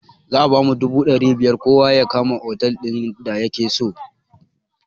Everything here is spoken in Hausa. Za a bamu dubu ɗari biyar kowa ya kama otal din da yakeso